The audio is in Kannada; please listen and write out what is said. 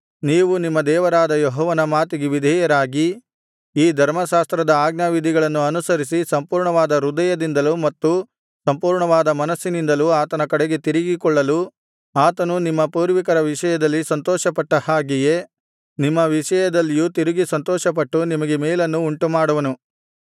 ನೀವು ನಿಮ್ಮ ದೇವರಾದ ಯೆಹೋವನ ಮಾತಿಗೆ ವಿಧೇಯರಾಗಿ ಈ ಧರ್ಮಶಾಸ್ತ್ರದ ಆಜ್ಞಾವಿಧಿಗಳನ್ನು ಅನುಸರಿಸಿ ಸಂಪೂರ್ಣವಾದ ಹೃದಯದಿಂದಲೂ ಮತ್ತು ಸಂಪೂರ್ಣವಾದ ಮನಸ್ಸಿನಿಂದಲೂ ಆತನ ಕಡೆಗೆ ತಿರುಗಿಕೊಳ್ಳಲು ಆತನು ನಿಮ್ಮ ಪೂರ್ವಿಕರ ವಿಷಯದಲ್ಲಿ ಸಂತೋಷಪಟ್ಟ ಹಾಗೆಯೇ ನಿಮ್ಮ ವಿಷಯದಲ್ಲಿಯೂ ತಿರುಗಿ ಸಂತೋಷಪಟ್ಟು ನಿಮಗೆ ಮೇಲನ್ನು ಉಂಟುಮಾಡುವನು